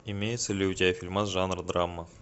имеется ли у тебя фильмас жанр драма